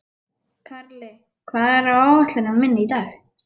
Karli, hvað er á áætluninni minni í dag?